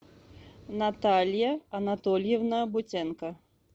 наталья анатольевна бутенко